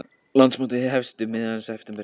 Íslandsmótið hefst um miðjan september